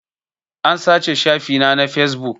An sace shafi na na fesbuk